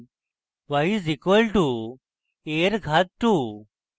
y is equal to a এর ঘাত 2